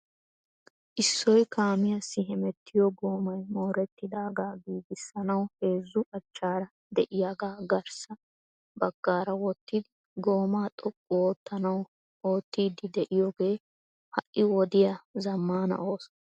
Isso kaamiyaassi hemettiyo goomay moorettidaaga giigisanaw heezzu achchaara de'iyaaga garssa baggaara wottidi gooma xoqqu oottanaw oottiidi de'iyoogee ha'i wodiyaa zammana ooso.